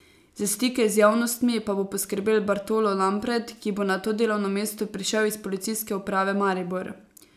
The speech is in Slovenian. Za stike z javnostmi pa bo skrbel Bartolo Lampret, ki bo na to delovno mesto prišel iz Policijske uprave Maribor.